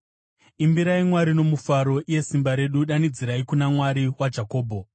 Imbirai Mwari nomufaro iye simba redu; danidzirai kuna Mwari waJakobho!